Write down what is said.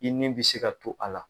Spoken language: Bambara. I ni bi se ka to a la